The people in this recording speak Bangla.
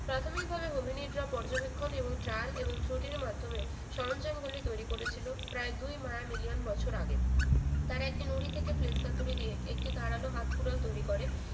প্রাথমিকভাবে হোমিনিদরা পর্যবেক্ষণ এবং trail এবং ক্রটির মাধ্যমে সরঞ্জামগুলি তৈরি করেছিল প্রায় দুই মায়া million বছর আগে তারা একটি নুড়ি থেকে fleks হাতুড়ি দিয়ে একটি ধারালো হাত কুড়োল তৈরি করে